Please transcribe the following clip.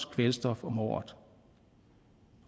kvælstof om året